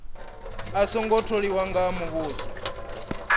a songo tholiwa nga muvhuso